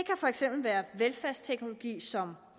for eksempel være velfærdsteknologier som